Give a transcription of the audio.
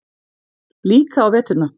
Líka á veturna.